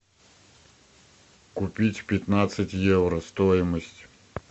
купить пятнадцать евро стоимость